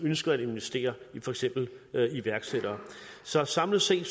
ønsker at investere i for eksempel iværksættere så samlet set